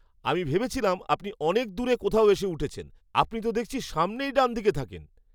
আমি ভেবেছিলাম আপনি অনেক দূরে কোথাও এসে উঠেছেন। আপনি তো দেখছি সামনেই ডানদিকে থাকেন।